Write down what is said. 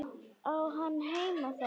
Á hann heima þar?